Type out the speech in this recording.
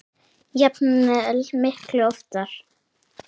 jafnvel miklu ofar.